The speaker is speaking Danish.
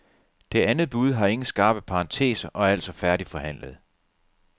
Det andet bud har ingen skarpe parenteser og er altså færdigforhandlet.